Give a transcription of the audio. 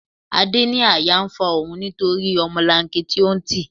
Adé ní àyà ń fa òun nítorí ọmọlanke tí ó ń tì.